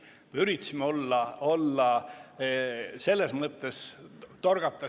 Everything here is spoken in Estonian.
Me üritasime selles mõttes silma torgata.